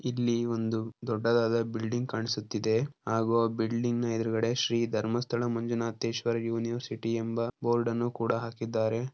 ಇಲ್ಲಿ ಒಂದು ದೊಡ್ಡದಾದ ಬಿಲ್ಡಿಂಗ್ ಕಾಣಿಸುತ್ತಿದೆ. ಆಗುವ ಬಿಲ್ಡಿಂಗ ಎದುರುಗಡೆ ಶ್ರೀ ಧರ್ಮಸ್ಥಳ ಮಂಜುನಾಥೇಶ್ವರ ಯೂನಿವರ್ಸಿಟಿ ಎಂಬ ಬೋರ್ಡ್ ಅನ್ನು ಕೂಡ ಹಾಕಿದ್ದಾರೆ.